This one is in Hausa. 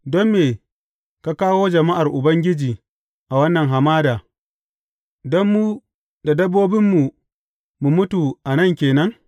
Don me ka kawo jama’ar Ubangiji a wannan hamada, don mu da dabbobinmu mu mutu a nan ke nan?